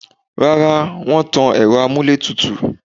Rárá, wọ́n tan ẹ̀rọ amúlétùtù